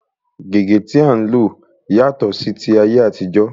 Gègé tí à ń lò yàtọ̀ sí ti ayé àtijó.